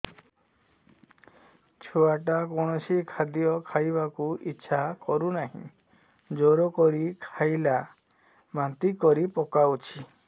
ଛୁଆ ଟା କୌଣସି ଖଦୀୟ ଖାଇବାକୁ ଈଛା କରୁନାହିଁ ଜୋର କରି ଖାଇଲା ବାନ୍ତି କରି ପକଉଛି